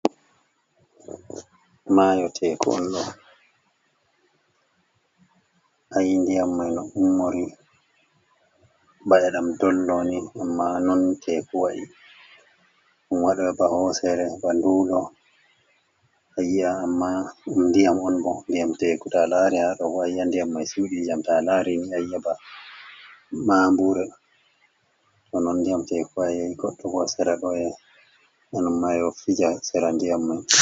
Mayo teku on ɗo. ayi ndiyam mai no ummori. Bana ɗam dolloni amma non teku wa'i. Dumma waɗa ba hosere ba ndulo. Ayi’a amma dam ndiyam on bo. Ndiyam teku to alari ha ɗobo ayi'a ndiyam mai sudijam. Ta alari ni ayi'a ba ma mbure. To non ndiyam teeku waai. goddo hosere loye anon mayo fija sera ndiyam mai.